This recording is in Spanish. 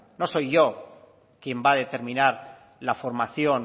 no soy yo quien va a determinar la formación